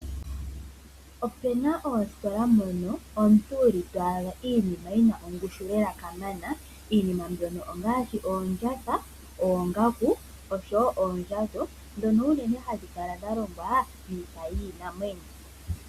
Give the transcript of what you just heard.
Opu na oositola mono to adha iinima yi na ongushu lela kamana iinima mbyono ongaashi oondjatha, oongaku oshowo oondjato ndhono uunene hadhi kala dha longwa miipa yiinamwenyo.